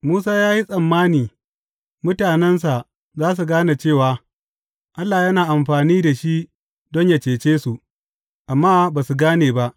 Musa ya yi tsammani mutanensa za su gane cewa, Allah yana amfani da shi don yă cece su, amma ba su gane ba.